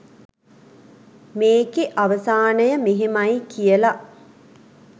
මේකෙ අවසානය මෙහෙමයි කියල